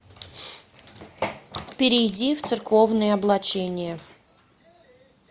перейди в церковные облачения